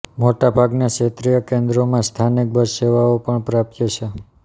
મોટા ભાગના ક્ષેત્રીય કેન્દ્રોમાં સ્થાનિક બસ સેવાઓ પણ પ્રાપ્ય છે